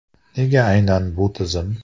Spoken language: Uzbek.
Nega aynan bu tizim?